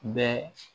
Bɛɛ